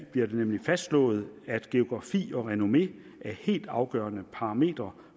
det nemlig fastslået at geografi og renommé er helt afgørende parametre